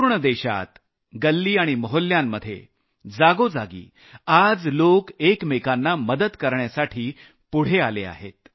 पूर्ण देशात गल्ली आणि मोहल्ल्यांमध्ये जागोजागी आज लोक एकमेकांना मदत करण्यासाठी पुढे आले आहेत